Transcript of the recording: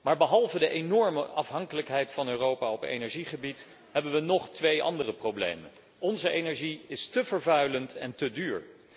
Maar behalve de enorme afhankelijkheid van Europa op energiegebied hebben wij nog twee andere problemen onze energie is te vervuilend en te duur.